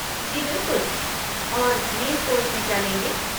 जी बिलकुल। और main course में क्या लेंगे?